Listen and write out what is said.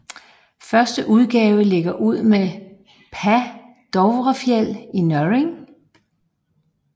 Første udgave lægger ud med Paa Dovrefjeld i Norrig